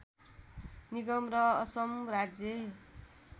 निगम र असम राज्य